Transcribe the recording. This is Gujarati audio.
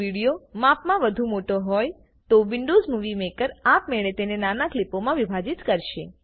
જો વિડીયો માપમાં વધુ મોટો હોય તો વિન્ડોવ્ઝ મુવી મેકર આપમેળે તેને નાના ક્લીપોમાં વિભાજીત કરશે